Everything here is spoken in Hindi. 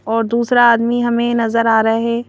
और दूसरा आदमी हमें नजर आ रहा है।